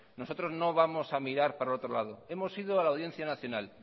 nosotros no vamos a mirar para otro lado hemos ido a la audiencia nacional